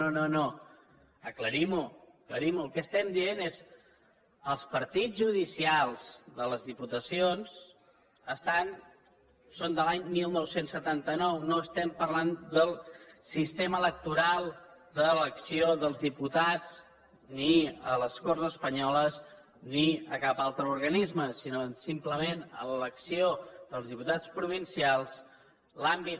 no no no aclarim ho aclarim ho el que estem dient és que els partits judicials de les diputacions són de l’any dinou setanta nou no estem parlant del sistema electoral d’elecció dels diputats ni a les corts espanyoles ni a cap altre organisme sinó simplement a l’elecció dels diputats provincials l’àmbit